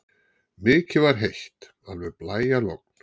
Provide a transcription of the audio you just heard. Mikið var heitt, alveg blæjalogn.